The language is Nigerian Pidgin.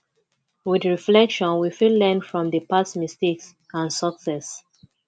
with reflection we fit learn from di past mistakes and success